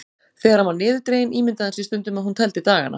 Þegar hann var niðurdreginn ímyndaði hann sér stundum að hún teldi dagana.